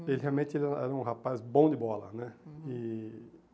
Uhum. Ele realmente ele era era um rapaz bom de bola, né? Uhum. E